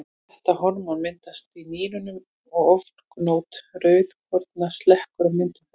Þetta hormón myndast í nýrunum og ofgnótt rauðkorna slekkur á myndun þess.